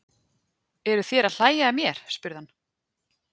Eruð þér að hlæja að mér? spurði hann.